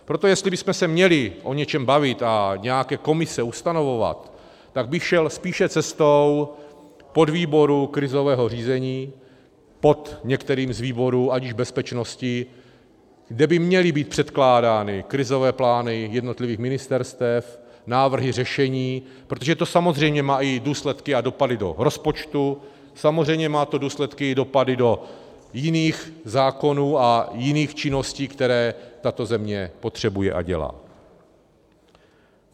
Proto jestli bychom se měli o něčem bavit a nějaké komise ustanovovat, tak bych šel spíše cestou podvýboru krizového řízení pod některým z výborů, ať již bezpečnosti, kde by měly být předkládány krizové plány jednotlivých ministerstev, návrhy řešení, protože to samozřejmě má i důsledky a dopady do rozpočtu, samozřejmě má to důsledky a dopady do jiných zákonů a jiných činností, které tato země potřebuje a dělá.